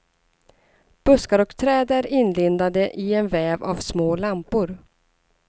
Buskar och träd är inlindade i en väv av små lampor.